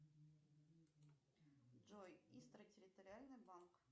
джой истра территориальный банк